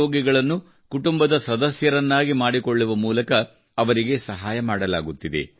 ರೋಗಿಗಳನ್ನು ಕುಟುಂಬದ ಸದಸ್ಯರನ್ನಾಗಿ ಮಾಡಿಕೊಳ್ಳುವ ಮೂಲಕ ಅವರಿಗೆ ಸಹಾಯ ಮಾಡಲಾಗುತ್ತಿದೆ